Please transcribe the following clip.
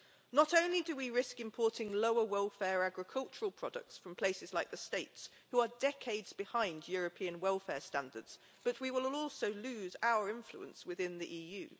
Not only do we risk importing lower welfare agricultural products from places like the United States, who are decades behind European welfare standards, but we will also lose our influence within the EU.